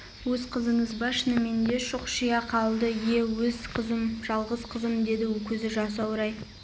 өз қызыңыз ба шынымен деп шұқшия қалды ие өз қызым жалғыз қызым деді көзі жасаурай